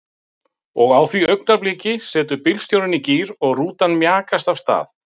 Og á því augnabliki setur bílstjórinn í gír og rútan mjakast af stað.